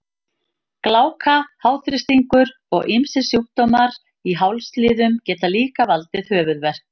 Gláka, háþrýstingur og ýmsir sjúkdómar í hálsliðum geta líka valdið höfuðverk.